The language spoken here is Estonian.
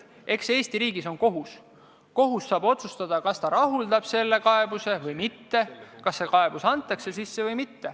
Eesti riigis on kohus ja kohus saab otsustada, kas ta rahuldab selle kaebuse või mitte.